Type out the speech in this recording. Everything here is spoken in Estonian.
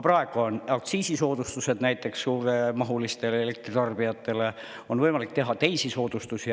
Praegu on näiteks suuremahulistele elektritarbijatele aktsiisisoodustused ja on võimalik teha teisigi soodustusi.